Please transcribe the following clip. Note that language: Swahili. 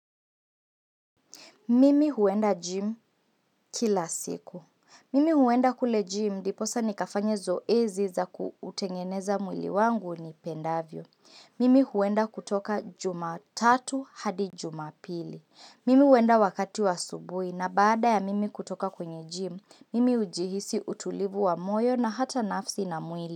Mimi huenda gym kila siku. Mimi huenda kule gym ndiposa nikafanye zoezi za kuutengeneza mwili wangu ni pendavyo. Mimi huenda kutoka jumatatu hadi jumapili. Mimi huenda wakati wa asubui na baada ya mimi kutoka kwenye gym, mimi ujihisi utulivu wa moyo na hata nafsi na mwili.